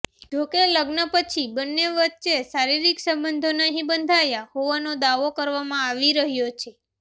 જોકે લગ્ન પછી બંને વચ્ચે શારિરીક સંબંધો નહીં બંધાયા હોવાનો દાવો કરવામાં આવી રહ્યો છે